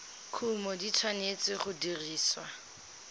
kumo di tshwanetse go dirisiwa